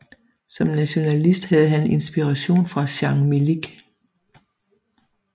Som nationalist havde han inspiration fra Jan Milic